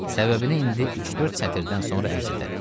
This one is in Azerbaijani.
Səbəbini indi üç-dörd sətirdən sonra ərz edərik.